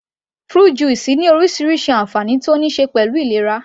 Fruit juice ní orísirísi ànfàní tó níí ṣe pẹ̀lú ìlera